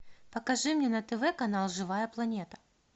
покажи мне на тв канал живая планета